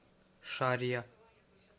шарья